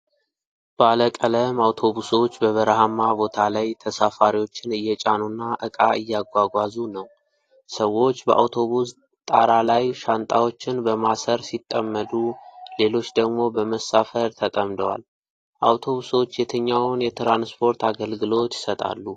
ባለቀለም አውቶቡሶች በበረሃማ ቦታ ላይ ተሳፋሪዎችን እየጫኑና እቃ እያጓጓዙ ነው። ሰዎች በአውቶቡስ ጣራ ላይ ሻንጣዎችን በማሰር ሲጠመዱ፣ ሌሎች ደግሞ በመሳፈር ተጠምደዋል። አውቶቡሶች የትኛውን የትራንስፖርት አገልግሎት ይሰጣሉ?